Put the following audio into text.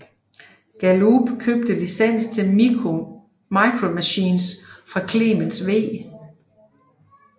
Galoob købte licens til Micro Machines fra Clemens V